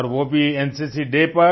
और वो भी एनसीसी डे पर